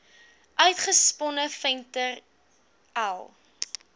uitgesponne venter l